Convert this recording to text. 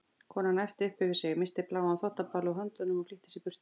Konan æpti upp yfir sig, missti bláan þvottabala úr höndunum og flýtti sér burt.